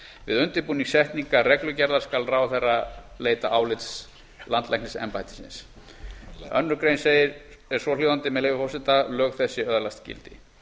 við undirbúning setningar reglugerðar skal ráðherra leita álits landlæknisembættisins annarri grein er svohljóðandi með leyfi forseta lög þessi öðlast þegar gildi